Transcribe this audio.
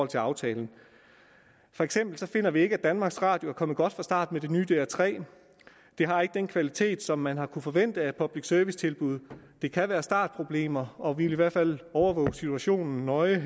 til aftalen for eksempel finder vi ikke at danmarks radio er kommet godt fra start med det nye dr tredje det har ikke den kvalitet som man kunne forvente af et public service tilbud men det kan være startproblemer og vi vil i hvert fald overvåge situationen nøje i